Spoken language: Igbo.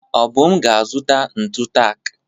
Obum ga-azụta ntụ taak.